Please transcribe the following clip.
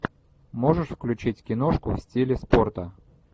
можешь включить киношку в стиле спорта